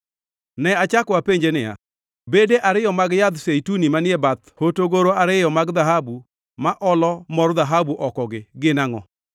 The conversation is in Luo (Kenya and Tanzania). Ne achako apenje niya, “Bede ariyo mag yadh zeituni manie bath hotogoro ariyo mag dhahabu ma olo mor dhahabu oko-gi, gin angʼo?”